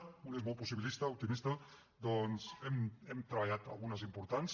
un és molt possibilista optimista doncs hem treballat algunes importants